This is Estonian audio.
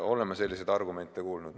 Oleme selliseid argumente kuulnud.